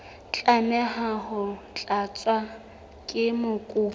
tlameha ho tlatswa ke mokopi